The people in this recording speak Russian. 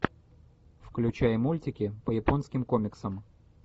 включай мультики по японским комиксам